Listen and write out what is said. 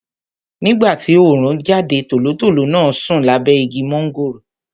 Nígbà tí oòrùn jáde, tòlótòló náà sùn lábẹ́ igi mọ́ńgòrò